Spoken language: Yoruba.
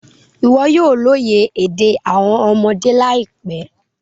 Iwọ yoo loye ede awọn ọmọde laipẹ